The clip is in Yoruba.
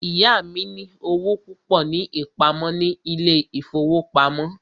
Ìyá mí ní owó púpọ ní ìpamọ́ ní ilé ìfọwọ́pamo.